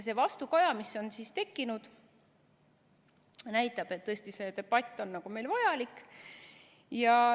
See vastukaja, mis on tekkinud, näitab, et tõesti see debatt on meil vajalik.